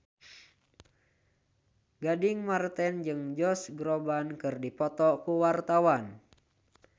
Gading Marten jeung Josh Groban keur dipoto ku wartawan